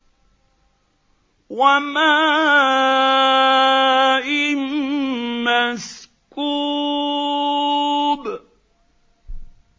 وَمَاءٍ مَّسْكُوبٍ